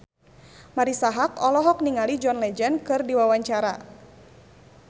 Marisa Haque olohok ningali John Legend keur diwawancara